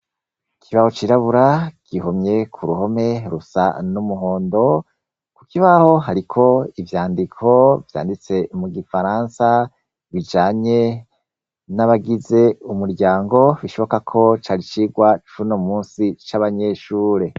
Ikibaho cirabura gihomye ku ruhome rusa n'umuhondo. Ku kibaho hariko ivyandiko vyanditse mu Gifaransa, bijanye n'abagize umuryango; bishoboka ko cari icigwa c'uno munsi c'abanyeshuri.